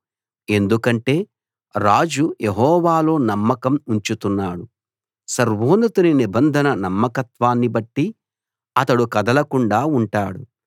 ఎందుకంటే రాజు యెహోవాలో నమ్మకం ఉంచుతున్నాడు సర్వోన్నతుని నిబంధన నమ్మకత్వాన్ని బట్టి అతడు కదలకుండా ఉంటాడు